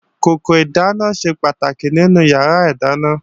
Kòkò ìdáná ṣe pàtàkì nínú yàrá ìdáná